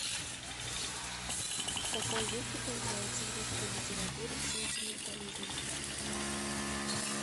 в каком веке появляется в русской литературе сентиментализм